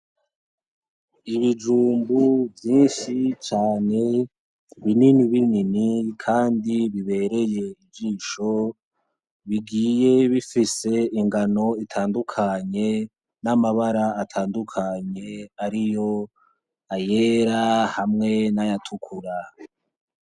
Ibijumbu vyinshi cane binini binini kandi bibereye ijisho, bigiye bifise ingano itandukanye n'amabara atandukanye hariyo ayera n'ayatukura.